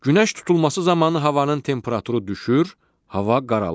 Günəş tutulması zamanı havanın temperaturu düşür, hava qaralır.